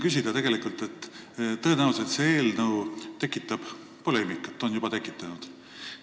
Tõenäoliselt tekitab see eelnõu poleemikat ja on ka juba tekitanud.